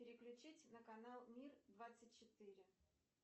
переключить на канал мир двадцать четыре